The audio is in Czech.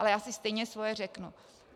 Ale já si stejně svoje řeknu.